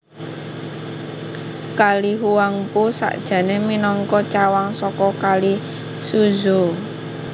Kali Huangpu sakjané minangka cawang saka Kali Suzhou